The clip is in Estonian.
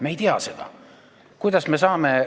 Me ei tea seda!